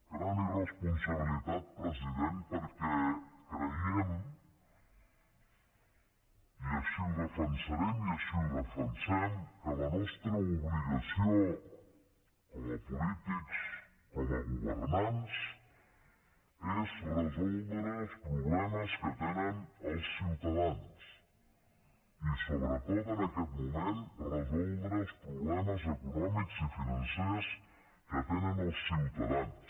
gran irresponsabilitat president perquè creiem i així ho defensarem i així ho defensem que la nostra obligació com a polítics com a governants és resoldre els problemes que tenen els ciutadans i sobretot en aquest moment resoldre els problemes econòmics i financers que tenen els ciutadans